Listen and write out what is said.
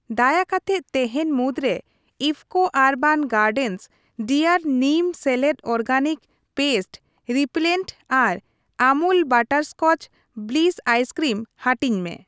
ᱫᱟᱭᱟ ᱠᱟᱛᱮᱫ ᱛᱮᱦᱮᱧ ᱢᱩᱫᱽᱨᱮ ᱤᱯᱷᱯᱷᱠᱳ ᱟᱨᱵᱟᱱ ᱜᱟᱨᱰᱮᱱᱥ ᱰᱤᱟᱨ ᱱᱤᱢ ᱥᱮᱞᱮᱫ ᱚᱨᱜᱮᱱᱤᱠ ᱯᱮᱥᱴ ᱨᱤᱯᱤᱞᱮᱱᱴ ᱟᱨ ᱟᱢᱩᱞ ᱵᱟᱴᱟᱨᱥᱠᱚᱪ ᱵᱞᱤᱥ ᱟᱭᱥᱠᱨᱤᱢ ᱦᱟᱹᱴᱤᱧ ᱢᱮ ᱾